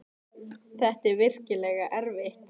Þetta er virkilega erfitt.